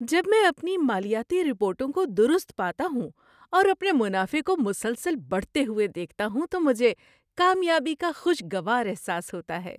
جب میں اپنی مالیاتی رپورٹوں کو درست پاتا ہوں اور اپنے منافع کو مسلسل بڑھتے ہوئے دیکھتا ہوں تو مجھے کامیابی کا خوشگوار احساس ہوتا ہے۔